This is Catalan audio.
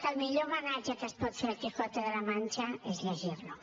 que el millor homenatge que es pot fer a el quijote de la mancha és llegir lo